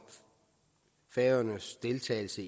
færøernes deltagelse